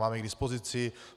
Mám ji k dispozici.